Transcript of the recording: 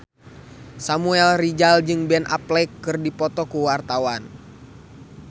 Samuel Rizal jeung Ben Affleck keur dipoto ku wartawan